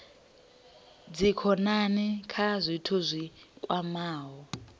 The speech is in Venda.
dzikhonani kha zwithu zwi kwamaho